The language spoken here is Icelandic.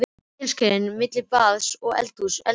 Telja skrefin á milli baðs og eldhúss, eldhúss og baðs.